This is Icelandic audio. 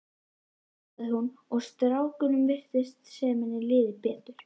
sagði hún og strákunum virtist sem henni liði betur.